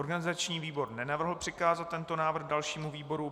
Organizační výbor nenavrhl přikázat tento návrh dalšímu výboru.